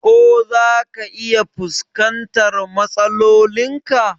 Ko zaka iya fuskantar matsalolin ka?